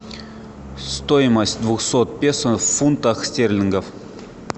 стоимость двухсот песо в фунтах стерлингов